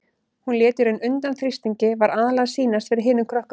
Hún lét í raun undan þrýstingi, var aðallega að sýnast fyrir hinum krökkunum.